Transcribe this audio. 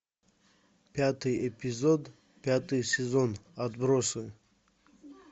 пятый эпизод пятый сезон отбросы